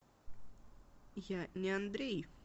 я не андрей